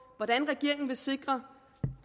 hvordan regeringen vil sikre